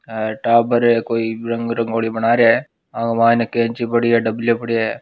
और टाबर है कोई रंग रंगोली बना रिया है व मायने कैंची पड़ी है डबलयो पड़यो है।